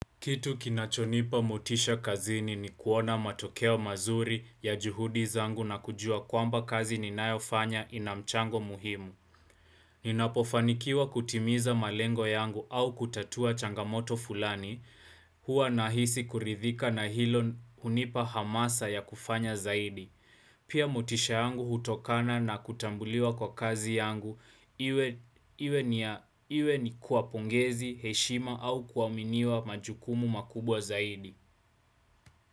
Kitu kinachonipa motisha kazini ni kuona matokeo mazuri ya juhudi zangu na kujua kwamba kazi ninayofanya inamchango muhimu. Ninapofanikiwa kutimiza malengo yangu au kutatua changamoto fulani, huwa nahisi kuridhika na hilo hunipa hamasa ya kufanya zaidi. Pia motisha yangu hutokana na kutambuliwa kwa kazi yangu, iwe ni kwa pongezi, heshima au kuaminiwa majukumu makubwa zaidi.